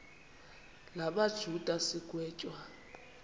la majuda sigwetywa